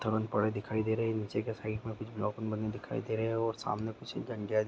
दिखाई दे रहे है निचे के साइड में कुछ बलोकन बने दिखाई दे रहे है और सामने कुछ --